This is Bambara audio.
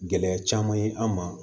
Gɛlɛya caman ye an ma